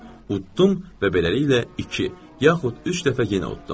Uddum və beləliklə iki, yaxud üç dəfə yenə uddum.